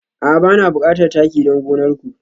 A'a bana bukatar taki don gonar ku